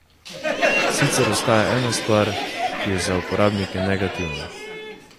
Sicer ostaja ena stvar, ki je za uporabnike negativna.